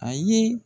A ye